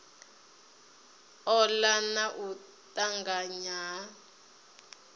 ola na u tanganya ha